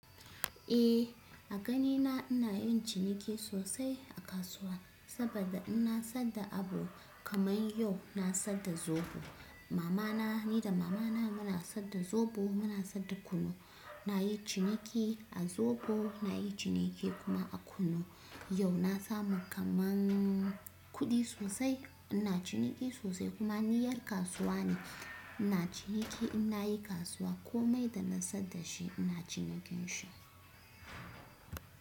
Eh a ganina ina yin ciniki sosai a kasuwa saboda inna sadda abu kamar yau na sadda zobo. Mamana ni da mamana muna sadda zobo, muna sadda kunu, na yi ciniki a zobo, na yi ciniki kuma a kunu. Yau na samu kaman kudi sosai, ina ciniki sosai kuma ni 'yar kasuwa ne. Ina ciniki inna yi kasuwa komai da na sadda shi ina cinikin shi.